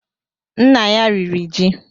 Nna ya riri ji